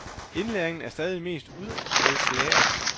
Indlæringen er stadig mest udenadslære.